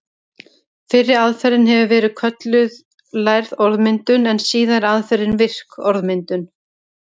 Fyrri aðferðin hefur verið kölluð lærð orðmyndun en síðari aðferðin virk orðmyndun.